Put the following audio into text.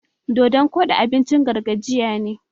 Dodon koɗi abincin gargajiya ne.